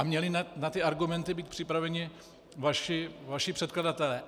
A měli na ty argumenty být připraveni vaši předkladatelé.